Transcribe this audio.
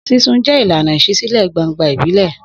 Sísun jẹ́ ìlànà ìṣísílẹ̀-gbangba ìbílẹ̀.